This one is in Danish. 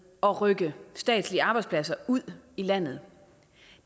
at rykke statslige arbejdspladser ud i landet